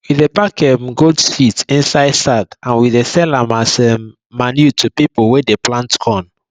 we dey pack um goat shit inside sack and we dey sell am as um manure to pipu wey dey plant corn